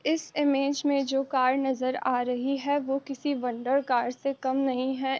इस इमेज में जो कार नजर आ रही है वो किसी वंडर कार से कम नहीं है।